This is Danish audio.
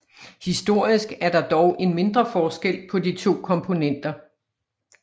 Historisk er der dog en mindre forskel på de to komponenter